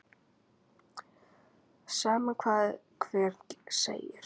Sama hvað hver segir.